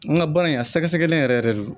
N ka baara in a sɛgɛsɛgɛlen yɛrɛ yɛrɛ de don